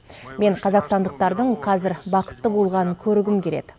мен қазақстандықтардың қазір бақытты болғанын көргім келеді